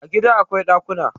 A gida akwai dakuna